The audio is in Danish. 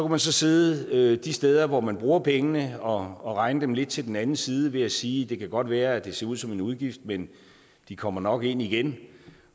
man sidde de steder hvor man bruger pengene og og regne dem lidt til den anden side ved at sige det kan godt være at det ser ud som en udgift men de kommer nok ind igen